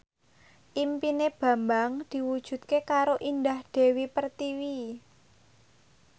impine Bambang diwujudke karo Indah Dewi Pertiwi